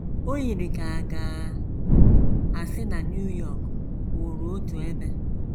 O yiri ka a ga - asị na New York kwụụrụ otu ebe.